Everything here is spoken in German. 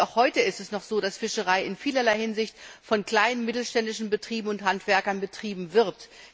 Und auch heute ist es noch so, dass Fischerei in vielerlei Hinsicht von kleinen und mittelständischen Betrieben und Handwerkern betrieben wird.